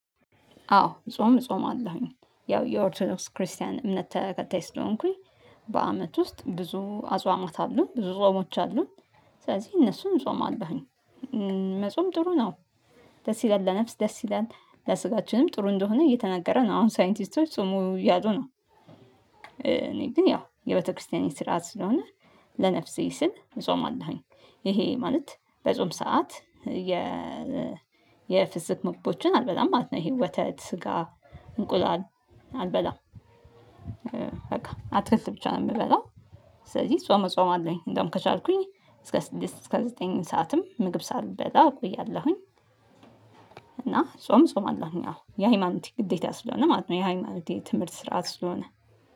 አዎ ጾም እጾማለሁኝ። ያው የኦርቶኖክስ ክርስቲያን እምነት ተከታይ ስለሆንኩኝ በአመት ውስጥ ብዙ አጿሟት። አሉ ብዙ ጾሞች አሉ። ስለዚህ እነሱን እጾማለሁኝ መጾም ጥሩ ነው ደስ ይላል። ለነፍስ ደስ ይላል ለስጋችንም ጥሩ እንደሆነ እየተነገረ ነው። አሁን ሳይንቲስቶች ጹሙ እያሉ ነው። እኔ ግን ያው የቤተክርስቲያን ስርዓት ስለሆነ ለነፍሴ ስል እጾማለሁኝ። ይሄ ማለት በጾም ሰዓት የ የ የፍስግ ምግቦችን አልበላም ማለት ነው። ይሄ ወተት፣ ስጋ፣ እንቁላል አልበላም። በቃ አትክልት ብቻ ነው የምበላው። ስለዚህ ጾም እጾማለሁኝ እንደውም ከቻልኩኝ እስከ እስከ ዘጠኝ ሰዓትም ምግብ ሳልበላ እቆያለሁኝ እና ጾም እጾማለሁኝ። አዎ የሃይማኖቴ ግዴታ ስለሆነ ማለት ነው። የሃይማኖቴ ትምህርት ስርዓት ስለሆነ